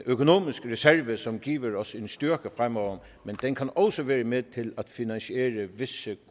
økonomisk reserve som giver os en styrke fremover men den kan også være med til at finansiere visse